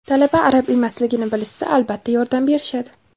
Talaba arab emasligini bilishsa, albatta, yordam berishadi.